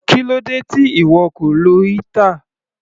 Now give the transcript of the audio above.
Kílódé tí ìwọ kò lo heater?